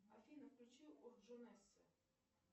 афина включи